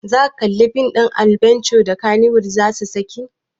Zaka kalli fim ɗin adbenture da kannywood zasu saki?